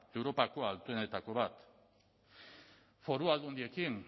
europako altuenetako bat foru aldundiekin